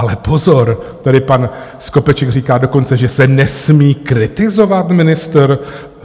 Ale pozor, tady pan Skopeček říká dokonce, že se nesmí kritizovat ministr?